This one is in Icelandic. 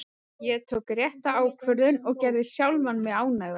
Ég tók rétta ákvörðun og gerði sjálfan mig ánægðan.